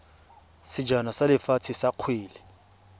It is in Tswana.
sejana sa lefatshe sa kgwele